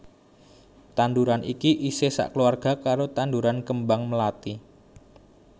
Tanduran iki isih sakeluwarga karo tanduran kembang mlathi